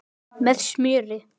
Með smjöri.